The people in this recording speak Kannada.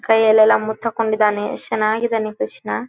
ಕೈಯೆಲ್ಲಲ್ಲ ಮುತ್ತಕೊಂಡಿದ್ದಾನೆ ಎಷ್ಟು ಚೆನ್ನಾಗಿ ಇದ್ದಾನೆ ಕೃಷ್ಣ.